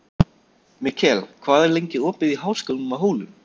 Mikkel, hvað er lengi opið í Háskólanum á Hólum?